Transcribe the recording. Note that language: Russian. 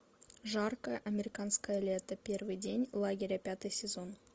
жаркое американское лето первый день лагеря пятый сезон